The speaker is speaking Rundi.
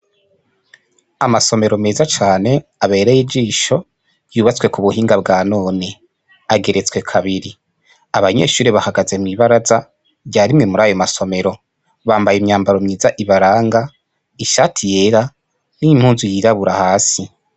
Amasomero meza nane abereye ijisho yubatse ku bunonga bwa none ageretswe kabiri abanyeshuri bahagaze mw'ibaraza rya rimwe murayo masomero bambaye imyambaro myiza ibaranga ishati yera n'impuzu yirabura hasi.